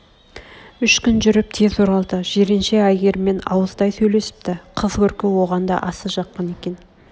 үш күн жүріп тез оралды жиренше әйгеріммен ауыздай сөйлесіпті қыз көркі оған да аса жаққан екен